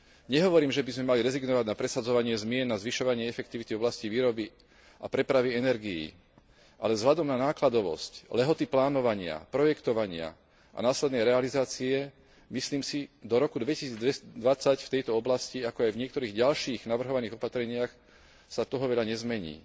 Nehovorím, že by sme mali rezignovať na presadzovanie zmien, na zvyšovanie efektivity v oblasti výroby a prepravy energií, ale vzhľadom na nákladovosť, lehoty plánovania, projektovania a následnej realizácie si myslím, že do roku 2020 sa v tejto oblasti, ako aj v niektorých ďalších navrhovaných opatreniach toho veľa nezmení.